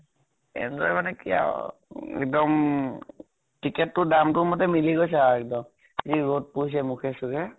enjoy মানে কি আৰু, এক্দম ticket তো দামটো মতে মিলি গৈছে আৰু এক্দম। যি ৰʼদ পৰিছে মুখে চুখে